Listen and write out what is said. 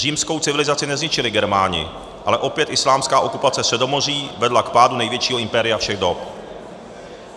Římskou civilizaci nezničili Germáni, ale opět islámská okupace Středomoří vedla k pádu největšího impéria všech dob.